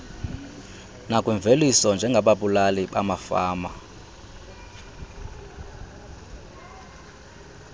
nakwimveliso njengababulali bamafama